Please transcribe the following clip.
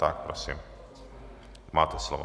Tak prosím, máte slovo.